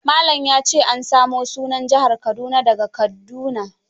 Malan ya ce an samo sunan Jihar Kaduna da ga kadduna.